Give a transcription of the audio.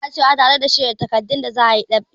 Isa na tacewa tare da shirya takardun da za a yi ɗab'i.